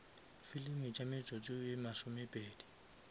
filimi tša metsotso ye masomepedi